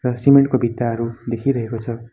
र सिमेन्ट को भित्ताहरु देखिरहेको छ।